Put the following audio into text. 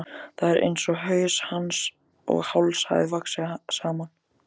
Það er einsog haus hans og háls hafi vaxið saman.